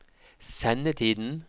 sendetiden